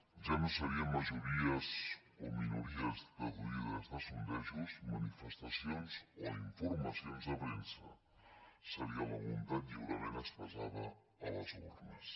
ja no serien majories o minories deduïdes de sondejos manifestacions o informacions de premsa seria la voluntat lliurement expressada a les urnes